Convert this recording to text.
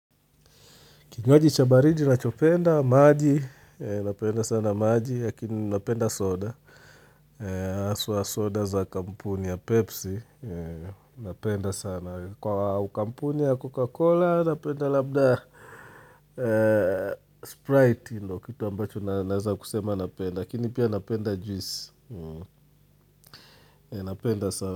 Kinywaji cha baridi nachopenda, maji, napenda sana maji, lakini napenda soda, haswa soda za kampuni ya Pepsi, napenda sana. Kwa kampuni ya Coca-Cola, napenda labda Sprite, ndio kitu ambacho naeza kusema napenda, lakini pia napenda juisi, napenda sana.